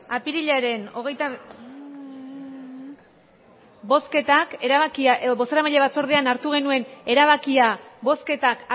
aprillaren ogeita um bozketak erabakia edo bozeramaile batzordean hartu genuen erabakia bozketak